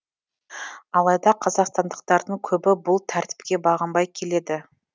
алайда қазақстандықтардың көбі бұл тәртіпке бағынбай келеді